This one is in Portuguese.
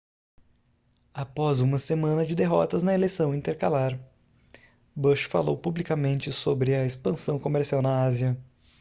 após uma semana de derrotas na eleição intercalar bush falou publicamente sobre a expansão comercial na ásia